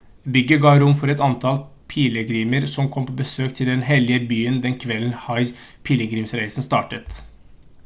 bygget ga rom for et antall pilegrimer som kom på besøk til den hellige byen den kvelden hajj-pilegrimsreisen startet